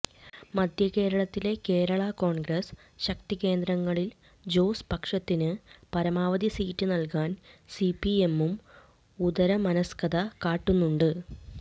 മധ്യകേരളത്തിലെ കേരള കോൺഗ്രസ് ശക്തികേന്ദ്രങ്ങളിൽ ജോസ് പക്ഷത്തിന് പരമാവധി സീറ്റ് നൽകാൻ സിപിഎമ്മും ഉദാരമനസ്കത കാട്ടുന്നുണ്ട്